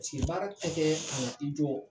paseke baarakɛ tɛ kɛ ka na i jɔ